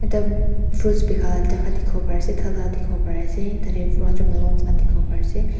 Ekta fruits bika laka jaka ekta diki po pari asae tadae watermelon Khan dikipo pari asae.